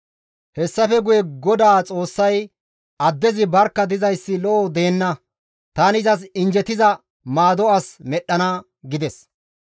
Hessafe guye GODAA Xoossay, «Addezi barkka dizayssi lo7o deenna; tani izas injjetiza maado as medhdhana» gides.